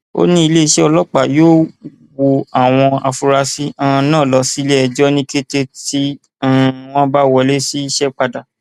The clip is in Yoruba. ó ní iléeṣẹ ọlọpàá yóò wọ àwọn afurasí um náà lọ síléẹjọ ní kété tí um wọn bá wọlé iṣẹ padà